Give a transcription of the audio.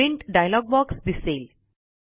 print dialogue box दिसेल